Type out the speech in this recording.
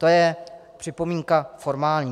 To je připomínka formální.